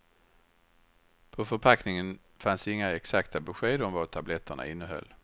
På förpackningen fanns inga exakta besked om vad tabletterna innehöll.